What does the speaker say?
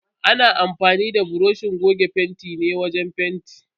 Ana amfanin da buroshin goge fentin ne wajen fenti.